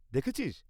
দেখেছিস?